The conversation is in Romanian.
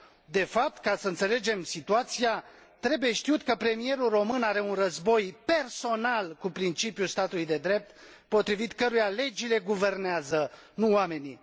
De fapt, ca să înțelegem situația, trebuie știut că premierul român are un război personal cu principiul statului de drept, potrivit căruia legile guvernează, nu oamenii.